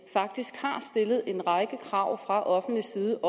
faktisk har stillet en række krav fra offentlig side